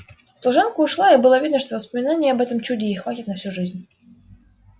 служанка ушла и было видно что воспоминаний об этом чуде ей хватит на всю жизнь